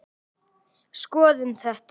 Skoðum þetta